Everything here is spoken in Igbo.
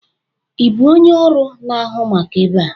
Ị bụ onye ọrụ na-ahụ maka ebe a?